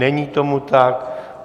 Není tomu tak.